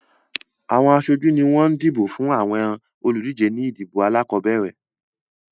Àwọn aṣojú ni wọ́n dìbò fún àwọn olùdíje ní ìdìbò alákọ̀ọ́bẹ̀rẹ̀